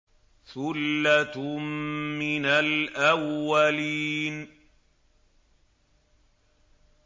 ثُلَّةٌ مِّنَ الْأَوَّلِينَ